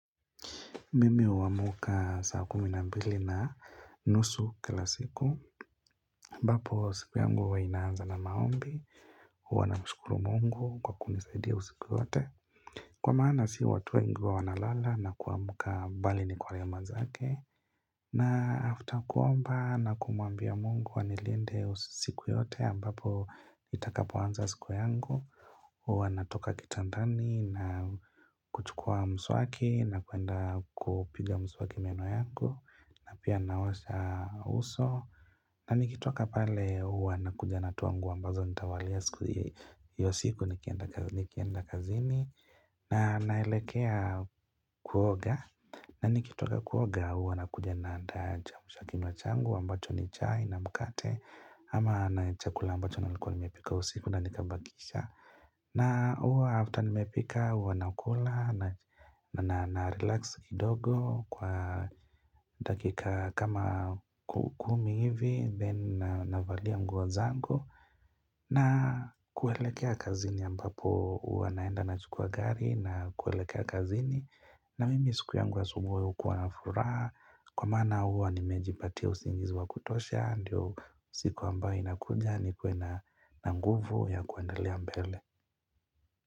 Mimi huamuka saa kumi na mbili na nusu kila siku ambapo siku yangu huwa inaanza na maombi Huwa namshukuru Mungu kwa kunisaidia usiku yote Kwa maana si watu wengi huwa wanalala na kuamuka bali ni kwa rehema zake na after kuomba na kumwambia mungu anilinde usiku yote ambapo itakapoanza siku yangu Huwa natoka kitandani na kuchukua mswaki na kuenda kupiga mswaki meno yangu na pia naosha uso na nikitoka pale huwa nakuja natoa nguo ambazo nitavalia siku hiyo hiyo siku nikienda kazini na naelekea kuoga na nikitoka kuoga huwa nakuja naandaa kiamshakinywa changu ambacho ni chai na mkate ama na chakula ambacho nilikuwa nimepika usiku na nikabakisha na huwa after nimepika huwa nakula na narelax kidogo kwa dakika kama ku kumi hivi Then navalia nguo zangu na kuelekea kazini ambapo uwa naenda nachukua gari na kuelekea kazini na mimi siku yangu wa asubuhi hukuwa na furaha Kwa maana huwa nimejipatia usingizi wa kutosha Ndiyo siku ambayo inakuja nikuwe na nguvu ya kuendelea mbele.